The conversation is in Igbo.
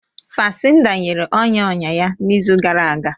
Fansida nyere ọnya ọnya ya n'izu gara aga